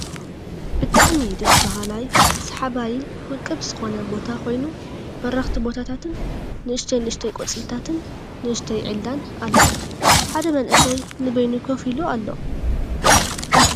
ብጣዕሚ ደስ ብሃላይ ስሓባይን ውቅብ ዝኮነ ቦታ ኮይኑ በርክቲ ቦታታትን ንእሽተይ ንእሽተይ ቆፅልታትሐ ንእሽተይ ዒላን ኣሎ። ሓደ መንእሰይ ንበይኑ ከፍ ኢሉ ኣሎ።